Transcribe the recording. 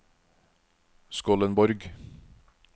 Skollenborg